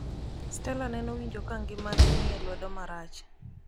stella nenowinjo ka ngimane ni e lwedo marach.